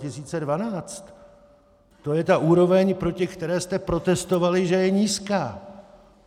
To je ta úroveň, proti které jste protestovali, že je nízká.